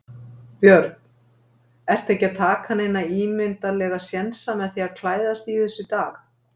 Björn: Ertu ekki að taka neina ímyndarlega sénsa með því að klæðast þessu í dag?